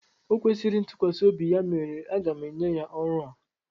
O kwesịrị ntukwasiobi ya mere aga m enye ya ọrụ a.